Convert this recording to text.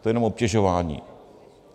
To je jenom obtěžování.